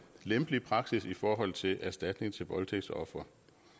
lempelig praksis i forhold til erstatning til voldtægtsofre